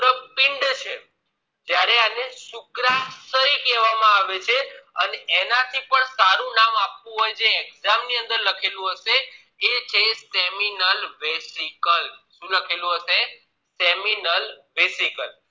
શય કહેવામાં આવે છે અને એનાથી એનાથી પણ સારું નામે આપવું હોય જે exam ની અંદર લખેલું હશે એ છે seminal resical શું લખેલું હશે seminal resical